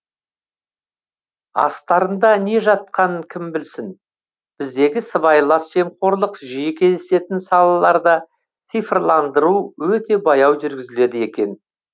астарында не жатқанын кім білсін біздегі сыбайлас жемқорлық жиі кездесетін салаларда цифрландыру өте баяу жүргізіледі екен